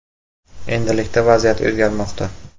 Endilikda vaziyat o‘zgarmoqda.